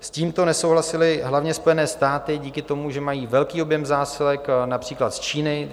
S tímto nesouhlasily hlavně Spojené státy díky tomu, že mají velký objem zásilek například z Číny.